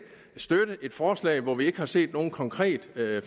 støtte et forslag når vi ikke har set nogen konkret